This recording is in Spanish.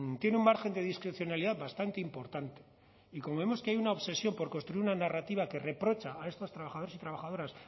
tiene un margen de discrecionalidad bastante importante y como vemos que hay una obsesión por construir una narrativa que reprocha a estos trabajadores y trabajadoras